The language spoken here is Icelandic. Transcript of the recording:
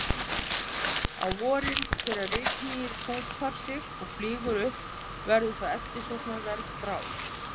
Á vorin þegar rykmýið púpar sig og flýgur upp verður það eftirsóknarverð bráð.